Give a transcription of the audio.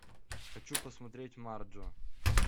хочу посмотреть марджу